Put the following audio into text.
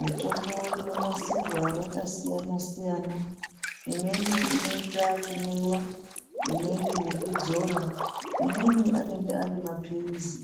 Mitombo inonasirwa yakasiya-siyana. Imweni inoita kumwiwa, imweni yekudzora. Imweni anenge ari maphirizi,